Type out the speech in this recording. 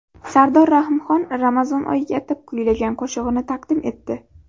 Sardor Rahimxon Ramazon oyiga atab kuylagan qo‘shig‘ini taqdim etdi.